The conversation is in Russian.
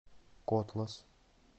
котлас